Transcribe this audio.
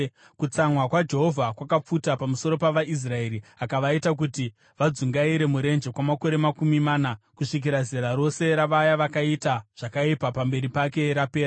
Kutsamwa kwaJehovha kwakapfuta pamusoro pavaIsraeri akavaita kuti vadzungaire murenje kwamakore makumi mana, kusvikira zera rose ravaya vakaita zvakaipa pamberi pake rapera.